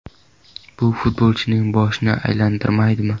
Bu futbolchining boshini aylantirmaydimi?